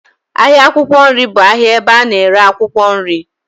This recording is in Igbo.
Ahịa akwụkwọ nri bụ ahịa ebe a na-ere akwụkwọ nri.